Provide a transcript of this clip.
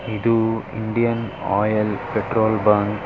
ಇದು Indian Oil petrol bunk --